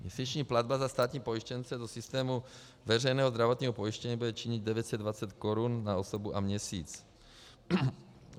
Měsíční platba za státní pojištěnce do systému veřejného zdravotního pojištění bude činit 920 korun na osobu a měsíc.